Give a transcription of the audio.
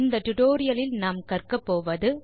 டுடோரியலின் முடிவில் உங்களால் செய்ய முடிவது